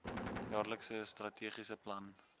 jaarlikse strategiese plan